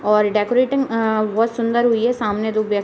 और डेकोरेटिंग अ बहोत सुन्दर हुई है। सामने दो व्यक्त --